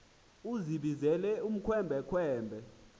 uzibizele ukhwembe khwembe